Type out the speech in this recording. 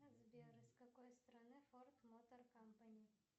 сбер из какой страны форд мотор компани